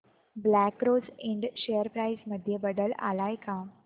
black Rose Ind share price मध्ये बदल आलाय का